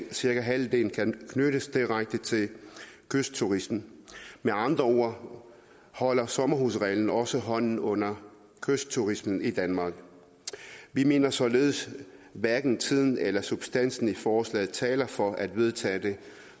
cirka halvdelen kan knyttes direkte til kystturismen med andre ord holder sommerhusreglen også hånden under kystturismen i danmark vi mener således at hverken tiden eller substansen i forslaget taler for at vedtage det